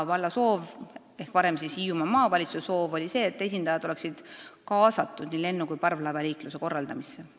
Valla soov ehk varem Hiiumaa Maavalitsuse soov oli see, et esindajad oleksid kaasatud nii lennu- kui ka parvlaevaliikluse korraldamisse.